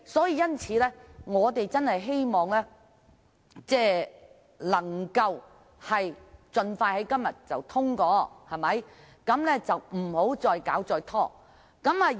因此，我們希望可以在今天盡快通過《條例草案》，不要再作拖延。